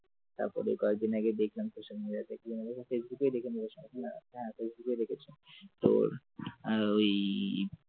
তারপরে কয়েকদিন আগে দেখলাম social media তে ফেসবুকে হ্যাঁ তোর ওই